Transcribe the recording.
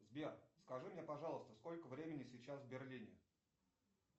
сбер скажи мне пожалуйста сколько времени сейчас в берлине